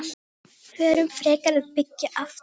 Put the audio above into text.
Förum frekar að byggja aftur.